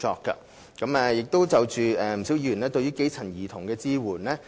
不少議員關注對基層家庭兒童的支援。